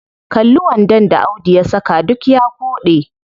Kalli wandon da audu ya saka, duk ya koɗe.